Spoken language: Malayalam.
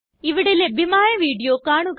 ഇവിടെ ലഭ്യമായ വീഡിയോ കാണുക